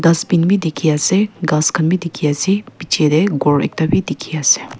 dustbin bhi dikhi ase ghass khan bhi dikhi ase piche teh ghor ekta bhi dikhi ase.